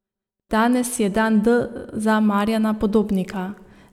Danes je dan D za Marjana Podobnika.